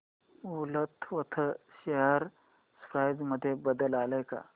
Woolworth share price मध्ये बदल आलाय का